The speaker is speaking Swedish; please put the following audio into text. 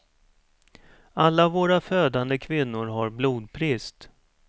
Alla våra födande kvinnor har blodbrist.